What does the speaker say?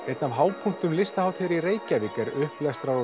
einn af hápunktum listahátíðar er upplestrar og